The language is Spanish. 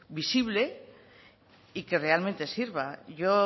visible y que realmente sirva yo